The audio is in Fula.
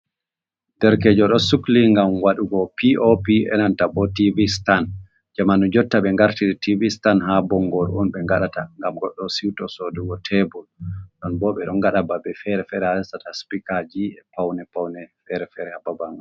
Ɗerkejo ɗo sukli ngam waɗugo pop, e nanta bo tivi Stan, jamanu jotta ɓe ngartiri tiv stan ha bongoru on ɓe ngaɗata ngam goɗɗo siuto sodugo tebul, ɗon bo ɓe ɗo ngada babe fere-fere ha resata spikaji e paune paune fere-fere ha baba nga.